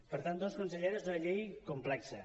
per tant doncs consellera és una llei complexa